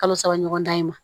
Kalo saba ɲɔgɔn dan in ma